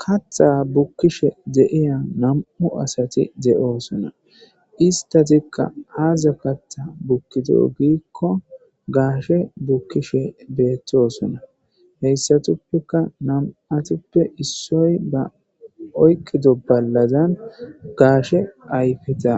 Katha bukkishe de7iya nam7u asati de7oosona istatikka aaza katha bukkido giikko gaashe bukkishe beettosonna heyssatuppeka nam7atappe issoy ba oykkido ballazan gaashe ayfeta